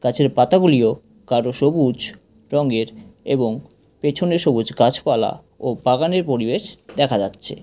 গাছের পাতাগুলিও গাঢ় সবুজ রঙের এবং পেছনে সবুজ গাছপালা ও বাগানের পরিবেশ দেখা যাচ্ছে।